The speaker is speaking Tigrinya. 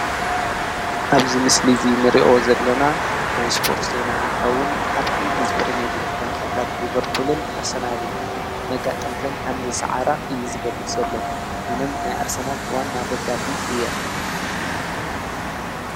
እብዚ ምስሊ እዚ ንሪኦ ዘለና ናይ ስፖርት ዜና እንትከውን አብ እንግሊዝ ፕሪሜርሊግ ጋንታታት ሊቨርፑልን አርሰናልን መጋጥምተን ከምዝሰዓራ እዩ ዝገልፅ ዘሎ። አነ ናይ አርሰናል ዋና ደጋፊ እየ።